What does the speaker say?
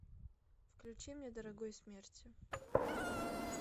включи мне дорогой смерти